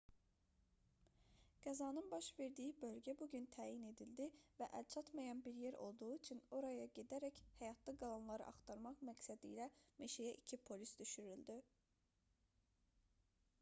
qəzanın baş verdiyi bölgə bu gün təyin edildi və əlçatmayan bir yer olduğu üçün oraya gedərək həyatda qalanları axtarmaq məqsədilə meşəyə 2 polis düşürüldü